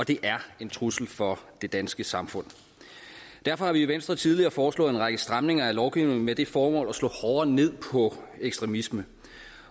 og det er en trussel for det danske samfund derfor har vi i venstre tidligere foreslået en række stramninger af lovgivningen med det formål at slå hårdere ned på ekstremisme